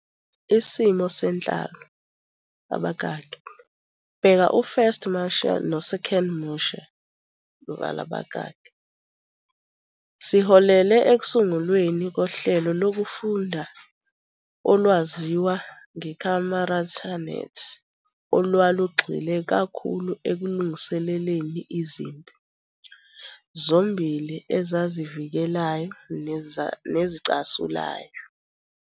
Isimo senhlalo, bheka u- First Mutai no- Second Mutai, siholele ekusungulweni kohlelo lokufunda olwaziwa nge- Kamuratanet olwalugxile kakhulu ekulungiseleleni izimpi, zombili ezazivikelayo nezicasulayo.